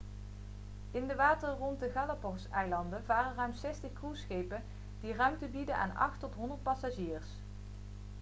in de wateren rond de galapagoseilanden varen ruim 60 cruiseschepen die ruimte bieden aan 8 tot 100 passagiers